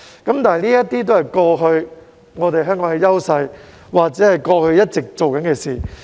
但是，這些都是香港過去的優勢，或是過去一直在做的事。